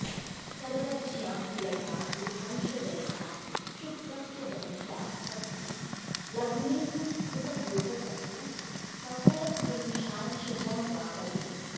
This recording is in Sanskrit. सर्वज्ञा कुलटा बुधांशजनिता शुक्रस्य बन्ध्या सती लग्नेन्दुस्फुटयोगतस्तु सकलत्रिंशांशजं वा वदेत्